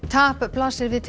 tap blasir við